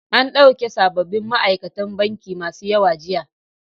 An ɗauki sabobin ma'aikatan banki masu yawa jiya.